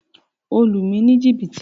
O lu mi ni jìbìtì!